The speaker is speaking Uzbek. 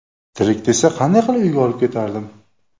Tirik desa, qanday qilib uyga olib ketardim?!